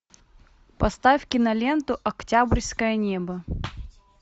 поставь киноленту октябрьское небо